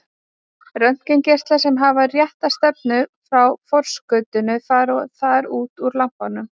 Röntgengeislar sem hafa rétta stefnu frá forskautinu fara þar út úr lampanum.